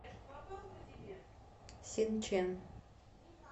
синчэн